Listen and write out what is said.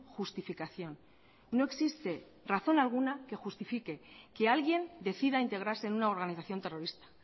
justificación no existe razón alguna que justifique que alguien decida integrarse en una organización terrorista